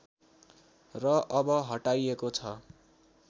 र अब हटाइएको छ